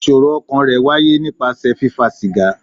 Ìṣòro ọkàn rẹ̀ wáyé nípasẹ̀ fífa sìgá.